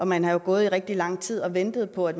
man har jo gået i rigtig lang tid og ventet på at